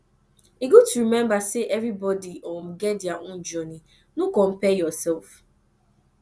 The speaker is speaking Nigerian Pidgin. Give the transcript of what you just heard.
e good to remember sey everybody um get dia own journey no compare yourself